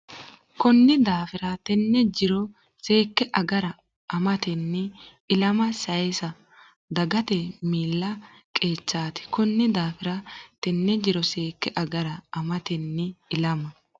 Konni daafira, teenne jiro seekke agare amatenni ilama sayisa dagate miilla qeechaati Konni daafira, teenne jiro seekke agare amatenni ilama.